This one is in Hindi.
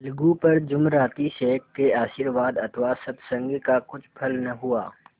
अलगू पर जुमराती शेख के आशीर्वाद अथवा सत्संग का कुछ फल न हुआ